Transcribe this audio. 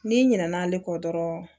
N'i ɲinɛna ale kɔ dɔrɔn